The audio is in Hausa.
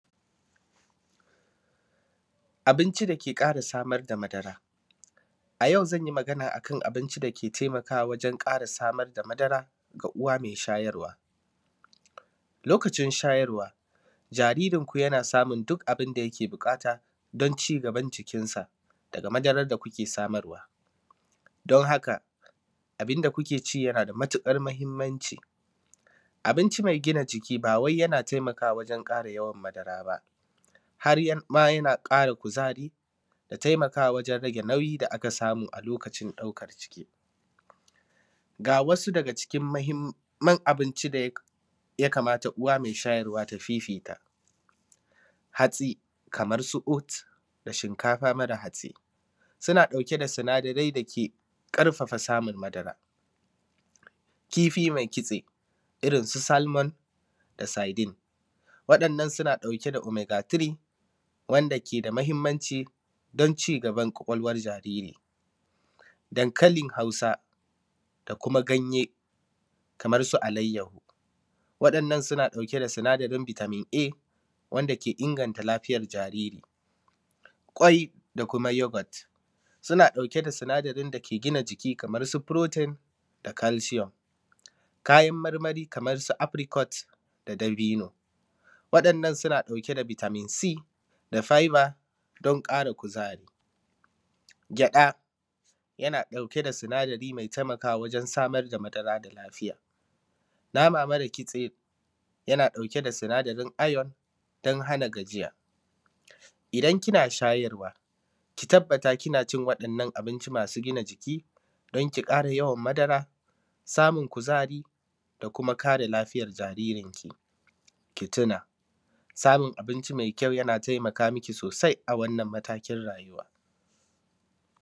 abinci da ke ƙara samar da madara a yau zan yi magana a kan abinci da ke taimakawa wajen ƙara samar da madara ga uwa mai shayarwa lokacin shayarwa jaririnku yana samun duk abin da yake buƙata don ci gaban cikinsa daga madarar da kuke samarwa don haka abin da kuke ci yana da matuƙar muhimmanci abinci mai gina jiki ba wai yana taimakawa wajen ƙara yawan madara ba har ma yana ƙara kuzari da taimakawa wajen rage nauyi da aka samu a lokacin ɗaukar ciki ga wasu daga cikin muhimman abinci da ya kamata uwa mai shayarwa ta fifita hatsi kamar su oud da shinkafa mara hatsi suna ɗauke da sinadarai da ke ƙarfafa samun madara kifi mai kitse irin su salmon da sardine waɗannan suna ɗauke da omega 3 wanda ke da muhimmanci don ci gaban ƙwaƙwalwar jariri dankalin hausa da kuma ganye kamar su alayyaho waɗannan suna ɗauke da sinadarin vitamin a wanda ke inganta lafiyar jariri ƙwai da kuma yoghurt suna ɗauke da sinadarin da ke gina jiki kamar su protein da calcium kayan marmari kamar su apricot da dabino waɗannan suna ɗauke da vitamin c da fibre don ƙara kuzari gyaɗa yana ɗauke da sinadari mai taimakawa wajen samar da madara mai lafiya nama mara kitse yana ɗauke da sinadarin iron don hana gajiya idan kina shayarwa ki tabbatar kina cin waɗannan abinci masu gina jiki don ki ƙara yawan madara samun kuzari da kuma kare lafiyar jaririnki ki tuna samun abinci mai kyau yana taimaka miki sosai a wannan matakin rayuwa